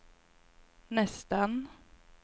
nästan